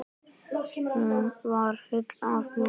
Hún var full af mjólk!